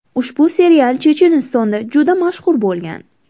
Ushbu serial Chechenistonda juda mashhur bo‘lgan.